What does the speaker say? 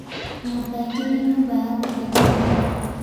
Nyũmba ĩngĩ nĩ nyũmba ya gũthĩnjanĩra